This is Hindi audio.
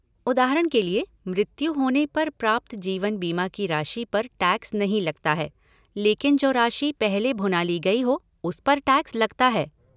उदाहरण के लिए, मृत्यु होने पर प्राप्त जीवन बीमा की राशि पर टैक्स नहीं लगता है, लेकिन जो राशि पहले भुना ली गई हो, उस पर टैक्स लगता है।